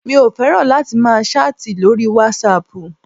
Mi ò fẹ́ràn láti máa ṣáàtì lóri wasaapù.